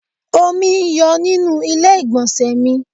Omi ń yọ nínú ilé igbonse mi